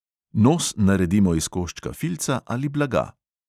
Nos naredimo iz koščka filca ali blaga.